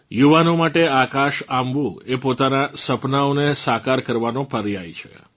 યુવાનો માટે આકાશ આંબવું એ પોતાનાં સપનાંઓને સાકાર કરવાનો પર્યાય છે